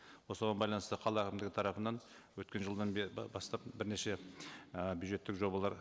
осыған байланысты қала әкімдігі тарапынан өткен жылдан бері бастап бірнеше ы бюджеттік жобалар